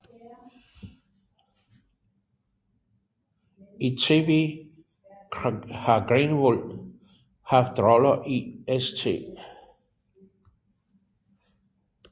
I TV har Greenwood haft roller i St